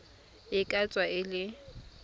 e ka tswa e le